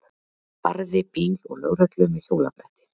Barði bíl og lögreglu með hjólabretti